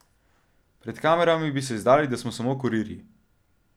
Pred kamerami bi se izdali, da smo samo kurirji.